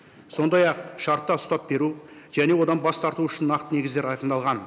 сондай ақ шартта ұстап беру және одан бас тарту үшін нақты негіздер айқындалған